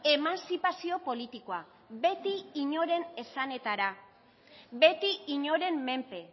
eemantzipazio politikoa beti inoren esanetara beti inoren menpe